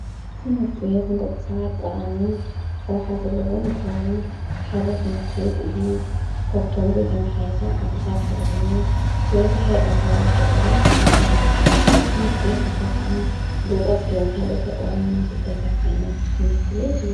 ትመርትቤት እንተቕሳባት ጥቓምን ራውኃ ዘለዎን እንተዉን ሓደ ትመርቲ ቤት እዙይ ከብቶምዙተ መሓይሳ ዓደታት ሓደኾኑ ብዝሐ ኣብካብ ገጠራት ይዙዉተር እዝ ትመርቲቤት ዘኸዓ ብቖጽልን ከልእቶኦዋምን ዘተሠርዓይነት ትነርቲ ቤት እዩ።